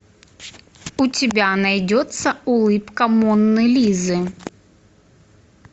у тебя найдется улыбка моны лизы